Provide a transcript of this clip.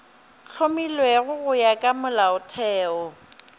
hlomilwego go ya ka molaotheo